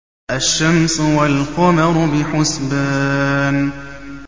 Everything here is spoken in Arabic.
الشَّمْسُ وَالْقَمَرُ بِحُسْبَانٍ